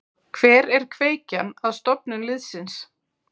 Hver er kveikjan að stofnun liðsins?